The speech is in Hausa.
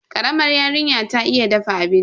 Karamar yarinyar ta iya dafa abinci.